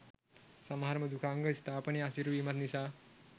සමහර මෘදුකාංග ස්ථාපනය අසීරු වීමත් නිසා